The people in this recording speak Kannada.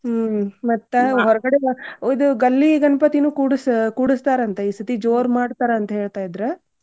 ಹ್ಮ್ ಮತ್ತ್ ಹೋರ್ಗಡೆದು ಇದು ಗಲ್ಲಿ ಗಣ್ಪತೀನು ಕೂಡುಸ~ ಕೂಡುಸ್ತಾರಂತ. ಈ ಸರ್ತಿ ಜೋರ್ ಮಾಡ್ತಾರಂತ ಹೇಳ್ತಾ ಇದ್ರ.